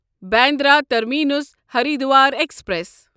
Bandra terminus Haridwar express